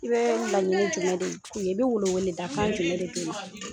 I bɛ laɲini jumɛn deli , i bi welewele da kan jumɛn de deli ?Ɛ